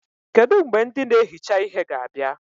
Kedụ mgbe ndị na-ehicha ihe ga-abịa?